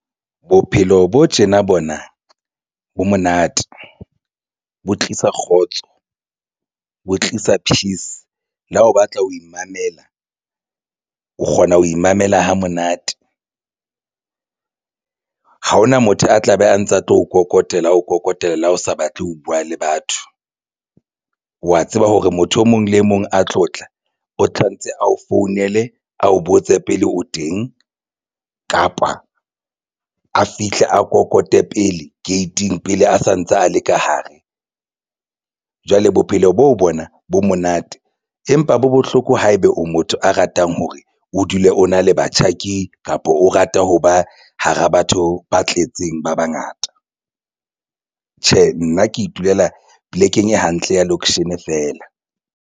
Bophelo bo tjena bona bo monate bo tlisa kgotso ho tlisa peace, le ha o batla ho imamela, o kgona ho imamela hamonate ha hona motho a tlabe a ntse a tlo nkokotela, o phokotela, o sa batle ho buwa le batho. Wa tseba hore motho e mong le mong a tlo tla o tshwanetse a o founele, a o botse pele o teng kapa a fihle a kokote pele gate ing pele a santsa a le ka hare jwale bophelo bo bona bo monate empa bo bohloko. Haeba o motho a ratang hore o dule o na le batjhaki, kapa o rata ho ba hara batho ba tletseng ba bangata, tjhe, nna ke itulela polekeng e hantle ya location feela.